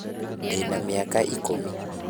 Ndĩna mĩaka ikũmi.